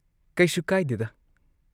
ꯀꯩꯁꯨ ꯀꯥꯢꯗꯦꯗ꯫